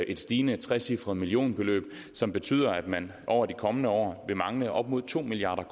et stigende trecifret millionbeløb som betyder at man over de kommende år vil mangle op mod to milliard